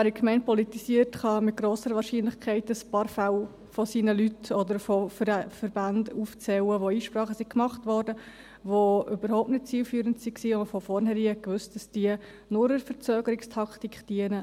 Wer in der Gemeinde politisiert, kann mit grosser Wahrscheinlichkeit ein paar Fälle von Leuten oder von Verbänden aufzählen, welche Einsprachen machten, die überhaupt nicht zielführend waren, und wo man von vornherein wusste, dass diese nur als Verzögerungstaktik dienen.